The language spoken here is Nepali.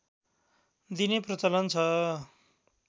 दिने प्रचलन छ